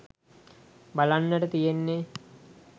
බලන්නට තියෙන්නේ